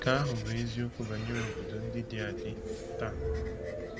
Nke ahụ bụ eziokwu banyere obodo ndị dị adị taa.